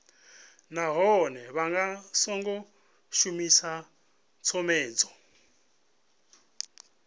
nahone vha songo shumisa tshomedzo